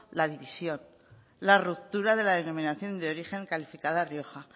la división la ruptura de la denominación de origen calificada rioja